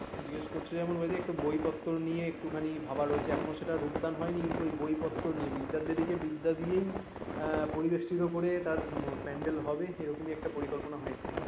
জিজ্ঞেস করছে যেমন ওই যে একটু বইপত্র নিয়ে একটুখানি ভাবা রয়েছে এখনও সেটা উত্থান হয়নি কিন্তু বই পত্র নিয়ে বিদ্যার দেবীকে বিদ্যা দিয়েই আহ পরিবেষ্টিত করে তার প্যান্ডেল হবে এইরকম একটা পরিকল্পনা হয়েছে